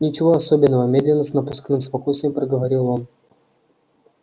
ничего особенного медленно с напускным спокойствием проговорил он